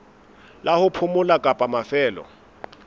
la ho phomola kapa mafelo